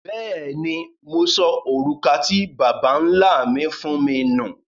Bẹ́ẹ̀ni, Mo sọ orúkà tí Babá-nlá mi fún mi nú.